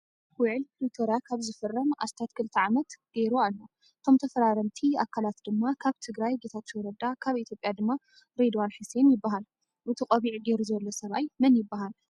ዉዕል ፒሪቶርያ ካብ ዝፍረም ኣስታት ክልተ ዓመት ከይሩ ኣሎ። እቶ ተፈራረምቲ ኣካልት ድማ ካብ ትግራይ ጌታቸው ረዳ ካብ ኢትዮጵያ ድማ ሬድዋን ሕሴን ይባሃል ።እቲ ቆቢዕ ገይሩ ዘሎ ሰብኣይ መን ይባሃል?